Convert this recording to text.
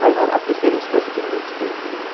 Mas a preferência da gente era andar de skate, por exemplo.